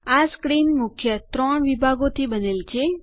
આ સ્ક્રીન ત્રણ મુખ્ય વિભાગોથી બનેલ છે